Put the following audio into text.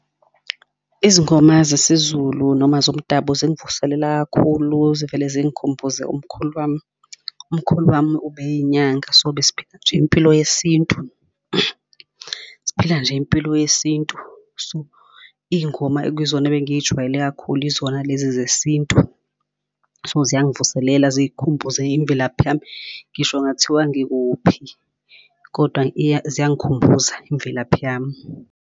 Izingoma zesiZulu noma zomdabu zingvuselela kakhulu, zivele zingikhumbuze umkhulu wami. Umkhulu wami ube yinyanga, so besphila nje impilo yesintu, siphila nje impilo yesintu. So iy'ngoma ekuyizona ebengiy'jwayele kakhulu izona lezi zesintu. So ziyangivuselela zikhumbuze imvelaphi yami. Ngisho kungathiwa ngikuphi kodwa ziyangikhumbuza imvelaphi yami.